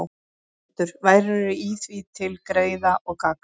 Þar stendur: Værirðu í því til greiða og gagns,